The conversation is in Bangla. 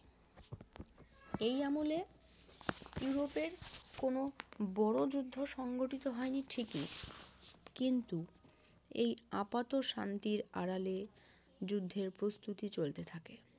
এই আমলে ইউরোপের কোনো বড়ো যুদ্ধ সংঘটিত হয় নি ঠিক ই কিন্তু এই আপাত শান্তির আড়ালে যুদ্ধের প্রস্তুতি চলতে থাকে